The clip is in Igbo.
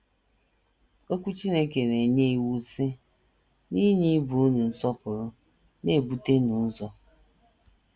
Okwu Chineke na - enye iwu, sị: “ N’inye ibe unu nsọpụrụ, na - ebutenụ ụzọ. ”